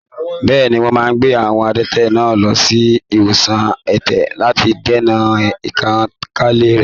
Bẹ́ẹ̀ni, wọ́n máa gbé àwọn adẹ́tẹ̀ náà lọ sí ilé ìwòsan ẹ̀tẹ̀ lati dènà ìtànkálẹ̀ rẹ̀.